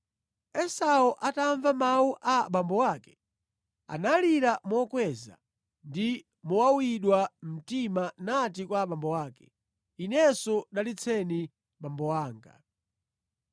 Esau atamva mawu a abambo ake, analira mokweza ndi mowawidwa mtima nati kwa abambo ake, “Inenso dalitseni abambo anga!”